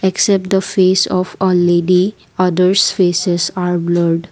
except the face of a lady others faces are blurred.